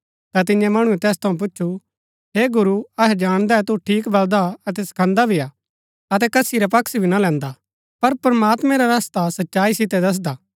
ता तियें मणुऐ तैस थऊँ पुछु हे गुरू अहै जाणदै तु ठीक बलदा अतै सखांदा भी हा अतै कसी रा पक्ष भी ना लैन्दा पर प्रमात्मैं रा रस्ता सच्चाई सितै दसदा